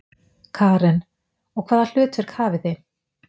Karen: Og hvaða hlutverk hafið þið?